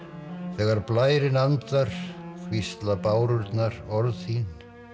þegar blærinn andar hvísla bárurnar orð þín